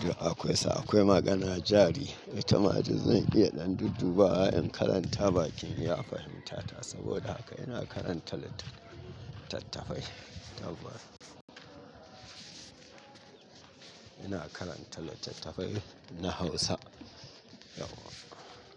Duk akwai sa akwai magana jari. Itama duk zan iya ɗan dudduba wa'in karanta bakin iya fahimta ta saboda haka ina karanta littattafai. Ina karanta littattafai na Hausa.